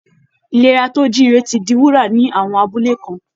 Ìlera tó jíire ti di wúrà ní àwọn abúlé kan